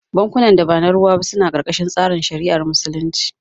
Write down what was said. Bankunan da ba na ruwa ba suna karkashin tsarin shari'ar Musulunci